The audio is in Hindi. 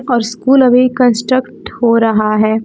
और स्कूल अभी कंस्ट्रक्ट हो रहा है।